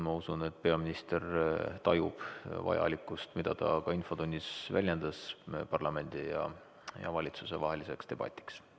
Ma usun, et peaminister tajub parlamendi ja valitsuse vahelise debati vajalikkust, seda ta ka infotunnis väljendas.